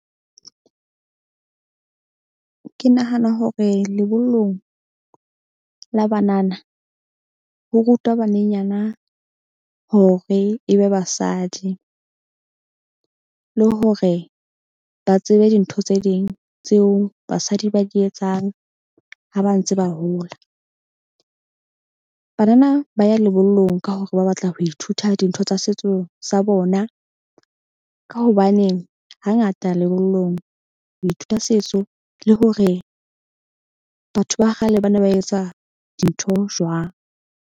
Ke nahana hore lebollong la banana, ho rutwa banenyana hore e be basadi le hore ba tsebe dintho tse ding tseo basadi ba di etsang ha ba ntse ba hola. Banana ba ya lebollong ka hore ba batla ho ithuta dintho tsa setso sa bona. Ka hobane hangata lebollong ho ithuta setso le hore batho ba kgale ba ne ba etsa dintho jwang.